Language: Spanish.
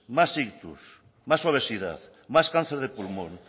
más ictus más obesidad más cáncer de pulmón